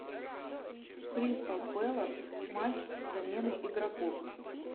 кристал пэлас матч с заменой игроков